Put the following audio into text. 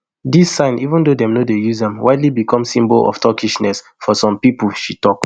dis sign even though dem no dey use am widely become symbol of turkishness for some pipo she tok